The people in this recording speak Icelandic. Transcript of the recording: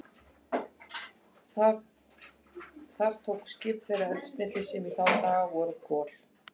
Þar tóku skip þeirra eldsneyti, sem í þá daga voru kol.